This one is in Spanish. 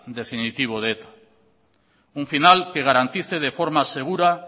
definitivo de eta un final que garantice de forma segura